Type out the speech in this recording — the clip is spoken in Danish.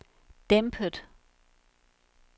dæmpet